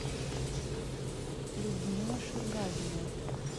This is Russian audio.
людмила ширгазина